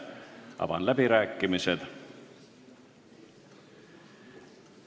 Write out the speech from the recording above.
Avan läbirääkimised.